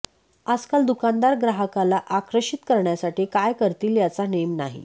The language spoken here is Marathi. आजकाल दुकानदार ग्राहकाला आकर्षित करण्यासाठी काय करतील याचा नेम नाही